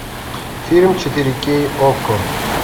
фильм четыре кей окко